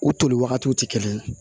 U toli wagatiw tɛ kelen ye